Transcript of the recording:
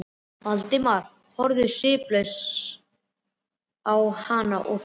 Valdimar horfði sviplaus á hana og þagði.